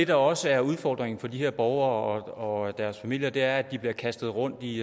der også er udfordringen for de her borgere og deres familier er at de bliver kastet rundt i